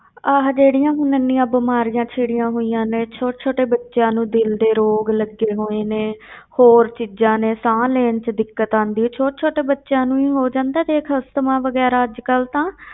ਆਹ ਜਿਹੜੀਆਂ ਹੁਣ ਇੰਨੀਆਂ ਬਿਮਾਰੀਆਂ ਛਿੜੀਆਂ ਹੋਈਆਂ ਨੇ, ਛੋਟੇ ਛੋਟੇ ਬੱਚਿਆਂ ਨੂੰ ਦਿਲ ਦੇ ਰੋਗ ਲੱਗੇ ਹੋਏ ਨੇ ਹੋਰ ਚੀਜ਼ਾਂ ਨੇ ਸਾਹ ਲੈਣ ਵਿੱਚ ਦਿੱਕਤ ਆਉਂਦੀ ਹੈ, ਛੋਟੇ ਛੋਟੇ ਬੱਚਿਆਂ ਨੂੰ ਹੀ ਹੋ ਜਾਂਦਾ ਦੇਖ ਅਸਥਮਾ ਵਗ਼ੈਰਾ ਅੱਜ ਕੱਲ੍ਹ ਤਾਂ,